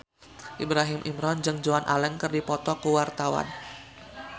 Ibrahim Imran jeung Joan Allen keur dipoto ku wartawan